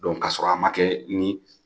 ka sɔrɔ a ma kɛ ni